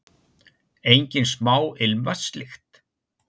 Engin smá ilmvatnslykt!